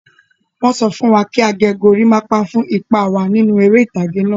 Wọ́n sọ fún wa kí a gẹ goríápá fún ipa wa nínú eré ìtàgé náà.